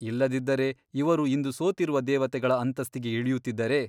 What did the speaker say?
ಇಲ್ಲದಿದ್ದರೆ ಇವರು ಇಂದು ಸೋತಿರುವ ದೇವತೆಗಳ ಅಂತಸ್ತಿಗೆ ಇಳಿಯುತ್ತಿದ್ದರೆ?